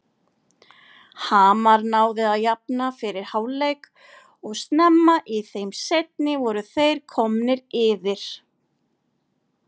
Hamar náði að jafna fyrir hálfleik og snemma í þeim seinni voru þeir komnir yfir.